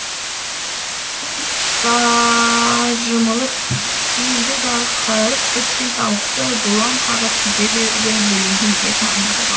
түн жамылып келді дағы қырып біткен тауықты бұлаң қағып кете берді бөленгенде таң нұрға